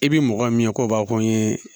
I bi mɔgɔ min ye k'o b'a fɔ ko n ye